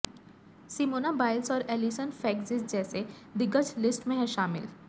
Simona Biles और Allyson Felix जैसे दिग्गज लिस्ट में है शामिल